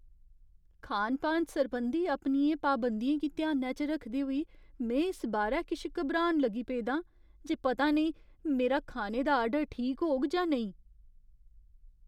खान पान सरबंधी अपनियें पाबंदियें गी ध्यानै च रखदे होई, में इस बारै किश घबरान लगी पेदा आं जे पता नेईं मेरा खाने दा आर्डर ठीक होग जां नेईं।